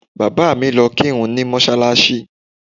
Bàbá mi lọ kírun ní mọ́ṣáláṣí